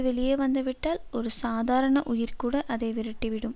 வெளியே வந்து விட்டால் ஒரு சாதாரண உயிர்கூட அதை விரட்டி விடும்